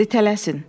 tələsin.